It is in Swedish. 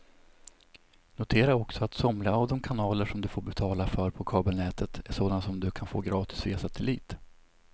Notera också att somliga av de kanaler som du får betala för på kabelnätet är sådana som du kan få gratis via satellit.